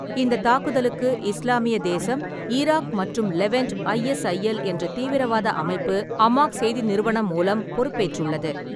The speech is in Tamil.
இந்த தாக்குதலுக்கு இஸ்லாமிய தேசம் ஈராக் மற்றும் லெவன்ட் (ஐஎஸ்ஐஎல்) என்ற தீவிரவாத அமைப்பு அமாக் செய்தி நிறுவனம் மூலம் பொறுப்பேற்றுள்ளது.